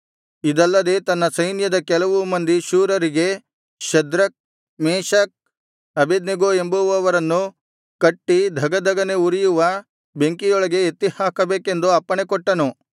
ಇದಲ್ಲದೆ ತನ್ನ ಸೈನ್ಯದ ಕೆಲವು ಮಂದಿ ಶೂರರಿಗೆ ಶದ್ರಕ್ ಮೇಶಕ್ ಅಬೇದ್ನೆಗೋ ಎಂಬುವವರನ್ನು ಕಟ್ಟಿ ಧಗಧಗನೆ ಉರಿಯುವ ಬೆಂಕಿಯೊಳಗೆ ಎತ್ತಿಹಾಕಬೇಕೆಂದು ಅಪ್ಪಣೆಕೊಟ್ಟನು